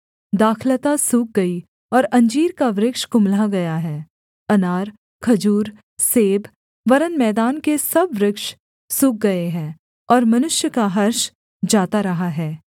दाखलता सूख गई और अंजीर का वृक्ष कुम्हला गया है अनार खजूर सेब वरन् मैदान के सब वृक्ष सूख गए हैं और मनुष्य का हर्ष जाता रहा है